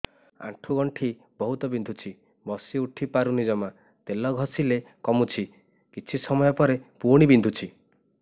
ଆଣ୍ଠୁଗଣ୍ଠି ବହୁତ ବିନ୍ଧୁଛି ବସିଉଠି ପାରୁନି ଜମା ତେଲ ଘଷିଲେ କମୁଛି କିଛି ସମୟ ପରେ ପୁଣି ବିନ୍ଧୁଛି